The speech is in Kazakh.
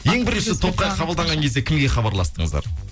ең бірінші топқа қабылданған кезде кімге хабарластыңыздар